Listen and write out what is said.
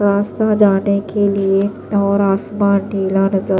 रास्ता जाने के लिए और आसमान नीला नजर--